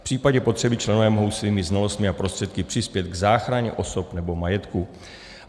V případě potřeby členové mohou svými znalostmi a prostředky přispět k záchraně osob nebo majetku.